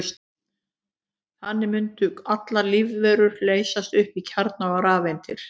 Þannig mundu allar lífverur leysast upp í kjarna og rafeindir.